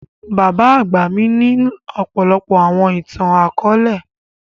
Bábà àgba mi ni ọ̀pọlọpọ̀ àwọn ìtan-àkọọlẹ.